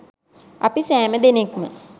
අපි සෑම දෙනෙක්ම